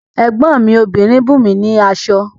Ẹ̀gbọ́n mi obìnrin bùnmi ní aṣọ